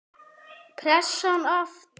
Pressan aftur.